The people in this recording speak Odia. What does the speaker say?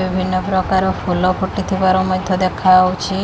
ବିଭିନ୍ନ ପ୍ରକାର ଫୁଲ ଫୁଟିଥିବାର ମଧ୍ୟ ଦେଖାହଉଛି।